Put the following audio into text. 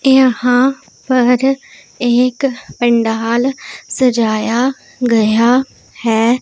यहां पर एक पंडाल सजाया गया है।